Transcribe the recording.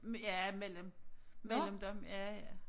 Med ja mellem mellem dem ja ja